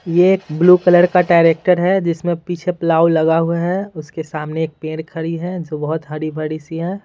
ये एक blue colour का ट्रैक्टर है जिसमें पीछे प्लाव लगा हुआ है उसके सामने एक पेड़ खड़ी है जो बहुत हरी-भरी सी है।